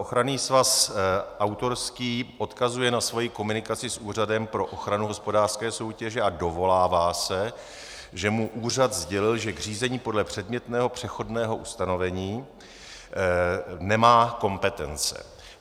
Ochranný svaz autorský odkazuje na svou komunikaci s Úřadem pro ochranu hospodářské soutěže a dovolává se, že mu úřad sdělil, že k řízení podle předmětného přechodného ustanovení nemá kompetence.